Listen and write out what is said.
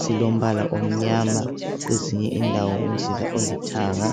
silombala omnyama kwezinye indawo umzila olithanga.